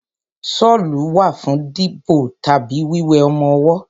Ṣọ́lù wà fún bíbo tàbí wíwé ọmọwọ́.